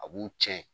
A b'u cɛn